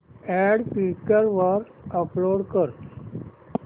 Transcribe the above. add Quikr वर upload कर